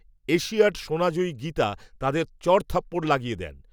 Asiad সোনা জয়ী গীতা, তাঁদের, চড়থাপ্পড় লাগিয়ে দেন